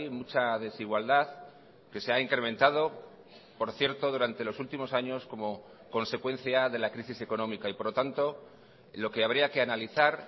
mucha desigualdad que se ha incrementado por cierto durante los últimos años como consecuencia de la crisis económica y por lo tanto lo que habría que analizar